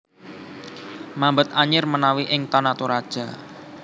Mambet anyir menawi ing Tana Toraja